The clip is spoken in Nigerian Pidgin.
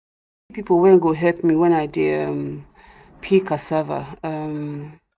i no see people wen go help me when we dey um peel cassava um